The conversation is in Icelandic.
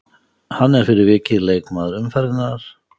Hann er fyrir vikið leikmaður umferðarinnar.